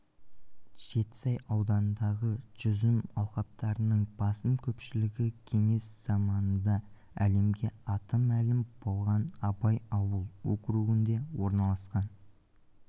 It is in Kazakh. жетісай ауданындағы жүзім алқаптарының басым көпшілігі кеңес заманында әлемге аты мәлім болған абай ауыл округінде орналасқан